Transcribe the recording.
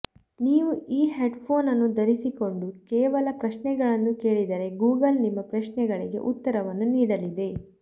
ನೀವು ಈ headphone ಅನ್ನು ಧರಿಸಿಕೊಂಡು ಕೇವಲ ಪ್ರಶ್ನೆಗಳನ್ನು ಕೇಳಿದರೆ ಗೂಗಲ್ ನಿಮ್ಮ ಪ್ರಶ್ನೆಗಳಿಗೆ ಉತ್ತರವನ್ನು ನೀಡಲಿದೆ